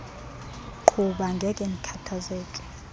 qhuba ngekhe ndikhathazeke